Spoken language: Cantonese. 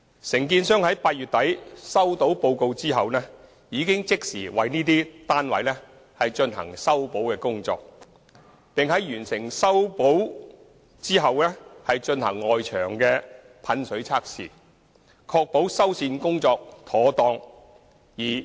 承建商在8月底收到報告後已即時為這些單位進行修補工作，並在完成修補後進行外牆噴水測試，確保修繕工作妥當。